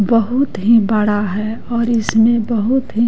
बहुत ही बड़ा है और इसमें बहुत--